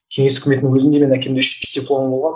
кеңес үкіметінің өзін де менің әкемде үш дипломы болған